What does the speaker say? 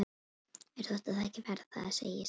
Mér þótti það ekki verra, það segi ég satt.